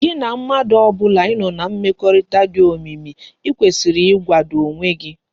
Gi na mmadu obula i no na mmekorita di omimi i kwesiri igwado onwe gi